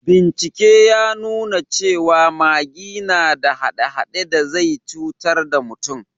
Bincike ya nuna cewa magi na da hade-hade da zai cutar da mutum